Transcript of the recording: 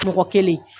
Mɔgɔ kelen